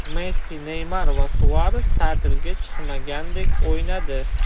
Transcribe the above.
Messi, Neymar va Suares ta’tilga chiqmagandek o‘ynadi.